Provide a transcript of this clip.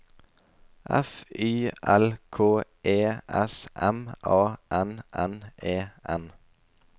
F Y L K E S M A N N E N